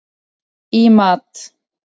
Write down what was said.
í mat.